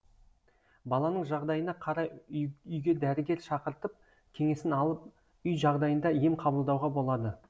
баланың жағдайына қарай үйге дәрігер шақыртып кеңесін алып үй жағдайында ем қабылдауға болады